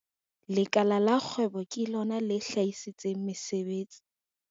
Lekala la kgwebo ke lona le hlahisang mesebetsi.